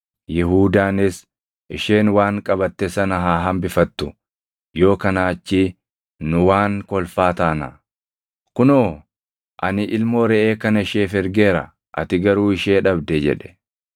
Yihuudaanis, “Isheen waan qabatte sana haa hambifattu; yoo kanaa achii nu waan kolfaa taanaa. Kunoo ani ilmoo reʼee kana isheef ergeera; ati garuu ishee dhabde” jedhe.